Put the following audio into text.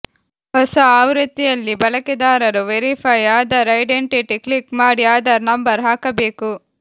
ಹೊಸ ಆವೃತ್ತಿಯಲ್ಲಿ ಬಳಕೆದಾರರು ವೆರಿಫೈ ಆಧಾರ್ ಐಡೆಂಟಿಟಿ ಕ್ಲಿಕ್ ಮಾಡಿ ಆಧಾರ್ ನಂಬರ್ ಹಾಕಬೇಕು